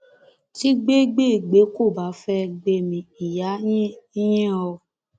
tí gbé gbè gbé kò bá fẹẹ gbẹmí ìyá yín yín o